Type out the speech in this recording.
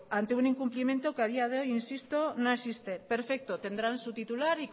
ante un incumplimiento que a día de hoy insisto no existe perfecto tendrán su titular